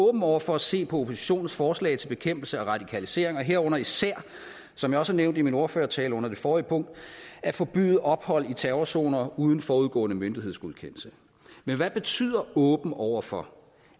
åben over for at se på oppositionens forslag til bekæmpelse af radikalisering herunder især som jeg også nævnte i min ordførertale under det forrige punkt at forbyde ophold i terrrorzoner uden forudgående myndighedsgodkendelse men hvad betyder åben over for